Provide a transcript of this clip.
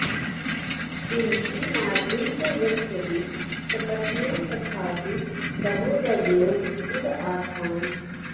कुन्ती माद्री च यद्यपि सपत्न्यौ तथापि सहोदर्यौ इव आस्ताम्